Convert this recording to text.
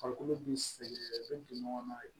Farikolo bi sɛgɛn u bɛ don ɲɔgɔnna